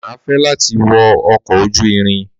Má fẹ lati wo ọkọ ojú irin